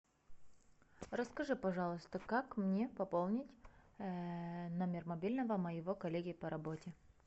расскажи пожалуйста как мне пополнить номер мобильного моего коллеги по работе